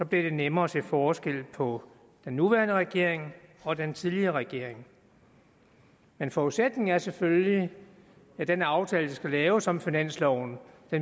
det nemmere at se forskel på den nuværende regering og den tidligere regering men forudsætningen er selvfølgelig at den aftale der skal laves om finansloven